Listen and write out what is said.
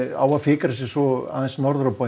á að fikra sig svo norður á bóginn